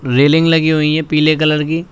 Railing लगी हुई है पीले कलर की।